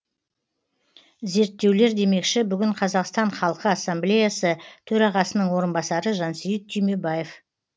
зерттеулер демекші бүгін қазақстан халқы ассамблеясы төрағасының орынбасары жансейіт түймебаев